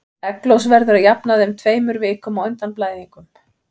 Egglos verður að jafnaði um tveimur vikum á undan blæðingum.